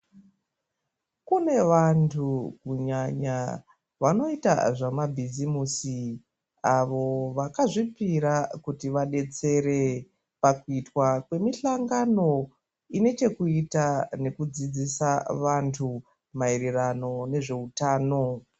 Kune vanthu kunyanya vanoita zvemabhisimusi avo vakazvipira kuti vadetsere pakuitwa kwemisangano ine chekuita nekudzidzisa vanthh maererano nezveutano.